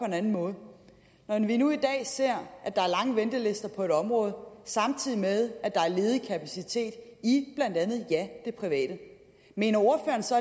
en anden måde når vi nu i dag ser at der er lange ventelister på et område samtidig med at der er ledig kapacitet i blandt andet ja det private mener ordføreren så